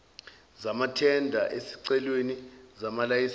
zamathenda ezicelweni zamalayisense